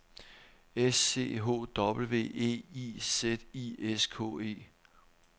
S C H W E I Z I S K E